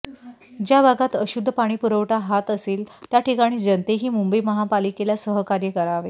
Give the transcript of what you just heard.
ज्या भागात अशुद्ध पाणीपुरवठा हात असेल त्या ठिकाणी जनतेही मुंबई महापालिकेला सहकार्य करावे